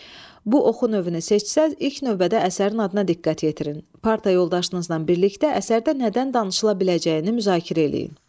Bu oxu növünü seçsəz, ilk növbədə əsərin adına diqqət yetirin, parta yoldaşınızla birlikdə əsərdə nədən danışıla biləcəyini müzakirə eləyin.